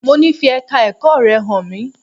Mo ní fi Ẹ̀ka ẹ̀kọ́ rẹ hàn mí!